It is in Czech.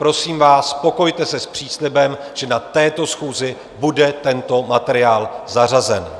Prosím vás, spokojte se s příslibem, že na této schůzi bude tento materiál zařazen.